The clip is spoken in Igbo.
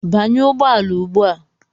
Banye ụgbọala ugbu a!